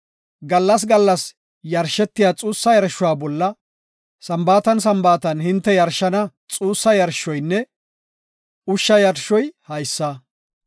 Gallas gallas yarshetiya xuussa yarshuwa bolla Sambaatan Sambaatan hinte yarshana xuussa yarshoynne ushsha yarshoy haysa.”